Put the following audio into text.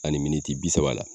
Ani militi bi saba la